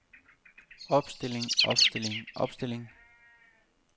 opstilling opstilling opstilling